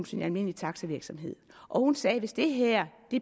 sin almindelige taxavirksomhed hun sagde hvis det her